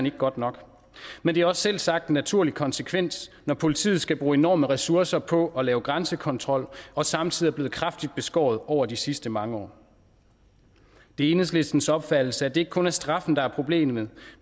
ikke godt nok men det er også selvsagt en naturlig konsekvens når politiet skal bruge enorme ressourcer på at lave grænsekontrol og samtidig er blevet kraftigt beskåret over de sidste mange år det er enhedslistens opfattelse at det ikke kun er straffen der er problemet